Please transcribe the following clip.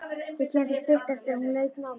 Þau kynntust stuttu eftir að hún lauk námi.